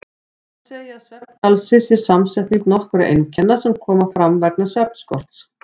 Því má segja að svefngalsi sé samsetning nokkurra einkenna sem koma fram vegna svefnskorts.